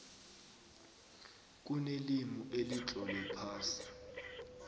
kunelimi elitlolwe phasi